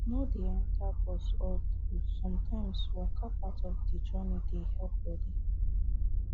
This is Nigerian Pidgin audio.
no dey enter bus all through sometimes waka part of the journey dey help body